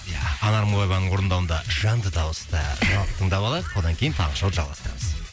ия анар мыңбаеваның орындауында жанды дауыста жаңалықты тыңдап алайық одан кейін таңғы шоуды жалғастырамыз